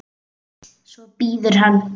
Svo bíður hann.